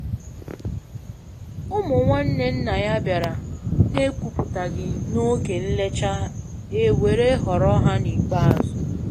Ụmụ nwanne nna ya bịara na ekwuputaghị na oge nlecha e were họrọ ha n'ikpeazụ